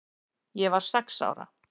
Ég var sex ára.